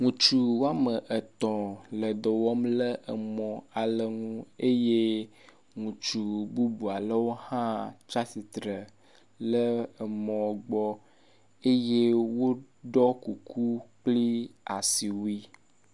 Wutsu woametɔ le dɔwɔ le mɔ ale ŋu eye ŋutsu bybualewo hã tsiatsitsre le emɔ gbɔ eye wóɖɔ kuku kple asiwui